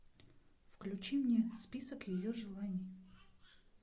включи мне список ее желаний